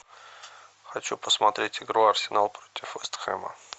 хочу посмотреть игру арсенал против вест хэма